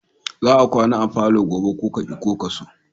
Za ka kwana a falo gobe ko ka ki ko ka so!